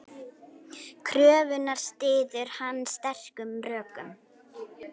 Kröfuna styður hann sterkum rökum.